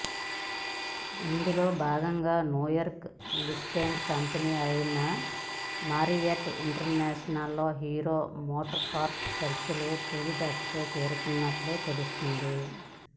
ఇందులో భాగంగా New York listed company అయిన మారియట్ ఇంటర్నేషనల్లో హీరో మోటోకార్ప్ చర్చలు తుది దశకు చేరుకున్నట్లు తెలుస్తోంది